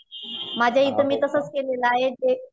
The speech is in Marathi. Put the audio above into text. माझ्या इथं मी तसच केलेलं आहे जे